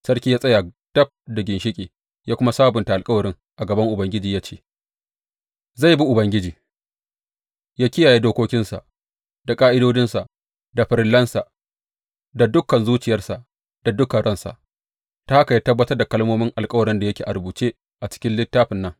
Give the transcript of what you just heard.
Sarki ya tsaya dab da ginshiƙi ya kuma sabunta alkawarin a gaban Ubangiji, ya ce zai bi Ubangiji, yă kiyaye dokokinsa, da ƙa’idodinsa, da farillansa, da dukan zuciyarsa da dukan ransa, ta haka ya tabbatar da kalmomin alkawarin da yake a rubuce a cikin littafin nan.